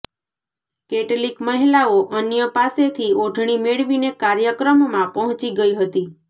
કેટલીક મહિલાઓ અન્ય પાસેથી ઓઢણી મેળવીને કાર્યક્રમમાં પહોંચી ગઇ હતી